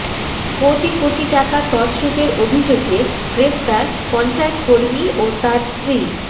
কোটি কোটি টাকা তছরুপের অভিযোগে গ্রেফতার পঞ্চায়েত কর্মী ও তাঁর স্ত্রী